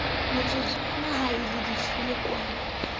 motsotswana ha e le difelekwane